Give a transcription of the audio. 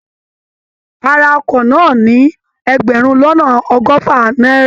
A ra ọkọ̀ náà ní ẹgbẹ̀rún lọ́nà ọgọ́fà náírà